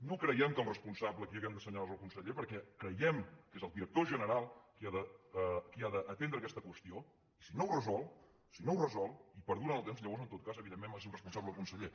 no creiem que el responsable a qui hàgim d’assenyalar és el conseller perquè creiem que és el director general qui ha d’atendre aquesta qüestió i si no ho resol si no ho resol i perdura en el temps llavors en tot cas evidentment màxim responsable el conseller